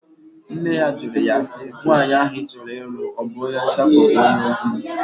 Nne ya jụrụ ya si, nwaanyị ahụ ị chọrọ ịlụ ọ bụ onye ọcha ka ọ bụ onye oji?